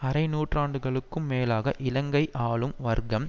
அரை நூற்றாண்டுகளுக்கும் மேலாக இலங்கை ஆளும் வர்க்கம்